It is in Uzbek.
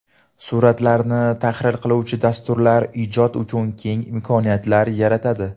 Suratlarni tahrir qiluvchi dasturlar ijod uchun keng imkoniyatlar yaratadi.